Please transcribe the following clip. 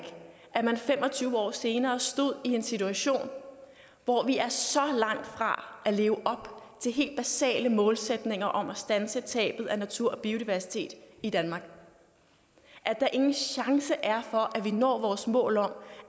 at man fem og tyve år senere stod i en situation hvor vi er så langt fra at leve op til helt basale målsætninger om at standse tabet af natur og biodiversitet i danmark at der ingen chance er for at vi når vores mål om